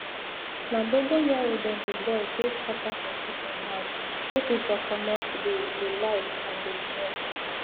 na dogon yaro dem dey boil take scatter for chicken house make e for commot d lice and d smell